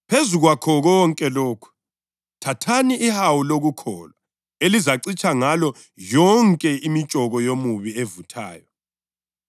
lezinyawo zenu zigqokiswe zalungiselelwa ngokuvela evangelini lokuthula.